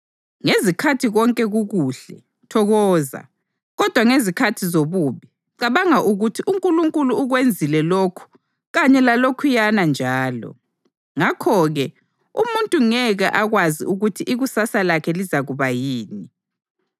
Ngezikhathi konke kukuhle, thokoza; kodwa ngezikhathi zobubi, cabanga ukuthi: uNkulunkulu ukwenzile lokhu kanye lalokhuyana njalo. Ngakho-ke umuntu ngeke akwazi ukuthi ikusasa lakhe lizakuba yini.